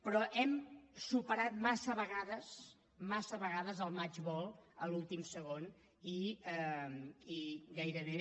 però hem superat massa vegades massa vegades el match ball a l’últim segon i gairebé